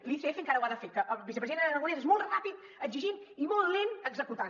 l’icf encara ho ha de fer que el vicepresident aragonès és molt ràpid exigint i molt lent executant